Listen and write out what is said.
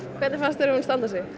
hvernig fannst þér hún standa sig